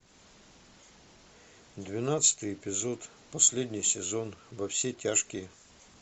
двенадцатый эпизод последний сезон во все тяжкие